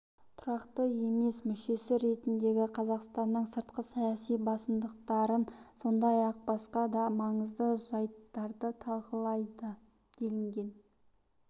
тұрақты емес мүшесі ретіндегі қазақстанның сыртқы саяси басымдықтарын сондай-ақ басқа да маңызды жайттарды талқылады делінген